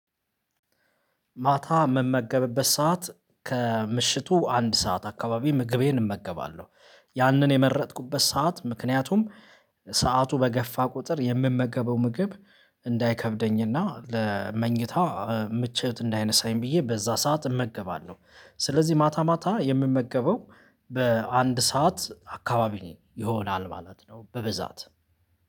ማታ ምመገብበት ሰዓት ከምሽቱ አንድ ሰዓት አካባቢ ምግቤን እመገባለሁ። ያንን የመረጥኩበት ሰዓት ምክንያቱም ሰዓቱ በገፋ ቁጥር የምመገበው ምግብ እንዳይከብደኝና ለመኝታ ምቾት እንዳይነሳኝ ብዬ በዛ ሰዓት እመገባለሁ። ስለዚህ ማታ ማታ የምመገበው በአንድ ሰዓት አካባቢ ይሆናል ማለት ነው በበዛት።